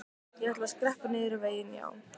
Ég ætla að skreppa niður vegginn, já.